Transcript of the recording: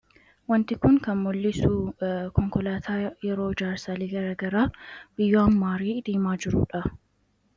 wanti kun kan mul'isu konkolaataa yeroo jaarsaalii garagaraa wiyyoanmaarii diimaa jiruudha